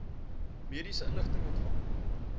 mediese inligting ontvang